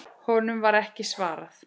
Honum var ekki svarað.